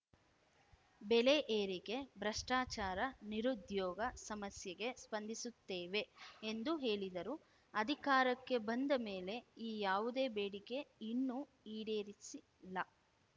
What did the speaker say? ಬೆಲೆ ಏರಿಕೆ ಭ್ರಷ್ಟಾಚಾರ ನಿರುದ್ಯೋಗ ಸಮಸ್ಯೆಗೆ ಸ್ಪಂದಿಸುತ್ತೇವೆ ಎಂದು ಹೇಳಿದರು ಅಧಿಕಾರಕ್ಕೆ ಬಂದ ಮೇಲೆ ಈ ಯಾವುದೇ ಬೇಡಿಕೆ ಇನ್ನೂ ಈಡೇರಿಸಿಲ್ಲ